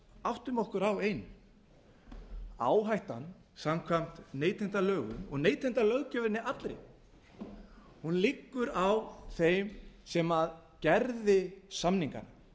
áttum okkur á einu áhættan samkvæmt neytendalögum og neytendalöggjöfinni allri hún liggur á þeim sem gerði samningana